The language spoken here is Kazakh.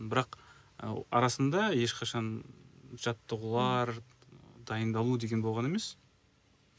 бірақ ы арасында ешқашан жаттығулар дайындалу деген болған емес